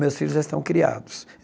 Meus filhos já estão criados.